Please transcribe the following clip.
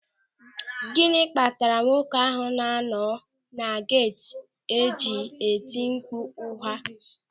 Gịnị kpatara nwoke ahụ na anọ na geeti ji etimkpu ụnyaahụ?